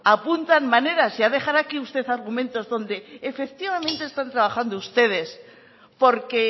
apuntan maneras ya dejará usted aquí argumentos donde efectivamente están trabajando ustedes porque